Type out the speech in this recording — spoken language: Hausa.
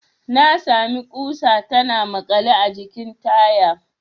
Na sami ƙusa tana makale a jikin taya.